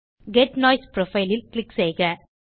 get noise profile ல் click செய்க